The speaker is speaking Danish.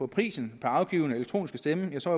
prisen per afgivne elektroniske stemme var så